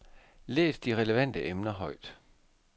Læs de relevante emner højt.